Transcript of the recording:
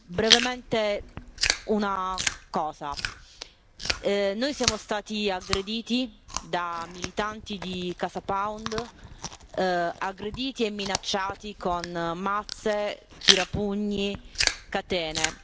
Brevemente, noi siamo stati aggrediti da militanti di CasaPound, aggrediti e minacciati con mazze, tirapugni, catene.